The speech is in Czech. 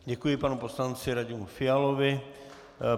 Děkuji panu poslanci Radimu Fialovi.